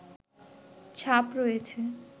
ছাপ রয়েছে